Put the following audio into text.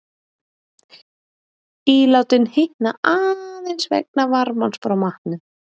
ílátin hitna aðeins vegna varmans frá matnum